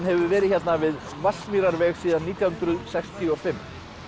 hefur verið hérna við Vatnsmýrarveg síðan nítján hundruð sextíu og fimm